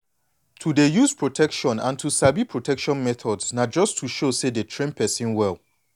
to dey use protection and to sabi protection methods na just to show say dey train person well